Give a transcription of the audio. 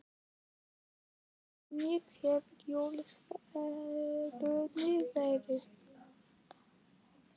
Hvernig hefur jólaverslunin verið?